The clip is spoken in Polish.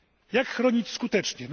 Jak chronić skutecznie?